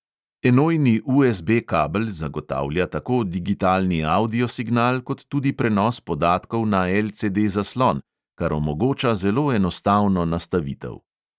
Enojni USB kabel zagotavlja tako digitalni avdio signal kot tudi prenos podatkov na LCD zaslon, kar omogoča zelo enostavno nastavitev.